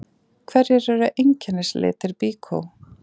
Hverjir eru einkennislitir Byko?